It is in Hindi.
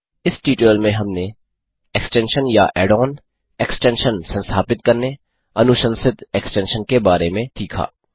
इस ट्यूटोरियल में हमने एक्सटेंशन या ऐड ऑन एक्सटेंशन संस्थापित करने अनुशंसित एक्सटेंशन के बारे में सीखा